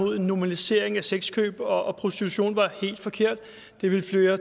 mod en normalisering af sexkøb og og prostitution var helt forkert det ville føre